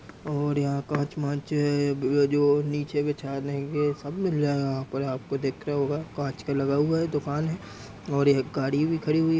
और जो नीचे बिछाने ग् सब मिल जाएगा यहां पर आपको देख रहा होगा कांच का लगा हुआ है। दोकान है और एक गाड़ी भी खड़ी हुई है --